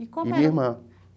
E minha irmã.